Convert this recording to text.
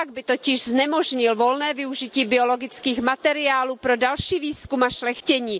Opak by totiž znemožnil volné využití biologických materiálů pro další výzkum a šlechtění.